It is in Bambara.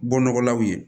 Bɔ nɔgɔlaw ye